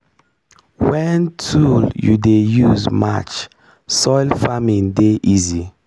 wen tool you dey use match soil farming dey easy.